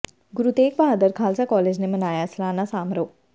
ਗੁਰੂ Tegh Bahadur Khalsa college ਨੇ ਮਨਾਇਆ ਸਾਲਾਨਾ ਸਮਾਰੋਹ